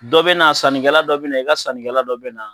Dɔ bɛ na sannikɛla dɔ bɛ na i ka sannikɛla dɔ bɛ na